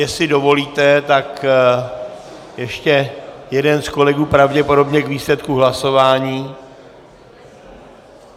Jestli dovolíte, tak ještě jeden z kolegů pravděpodobně k výsledku hlasování.